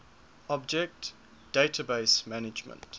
object database management